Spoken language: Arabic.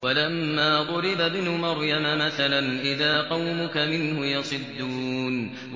۞ وَلَمَّا ضُرِبَ ابْنُ مَرْيَمَ مَثَلًا إِذَا قَوْمُكَ مِنْهُ يَصِدُّونَ